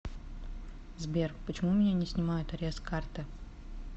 сбер почему у меня не снимают арест с карты